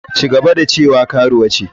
Ci gaba da cewa karuwa ce.